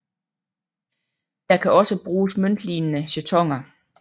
Der kan også bruges møntlignende jetoner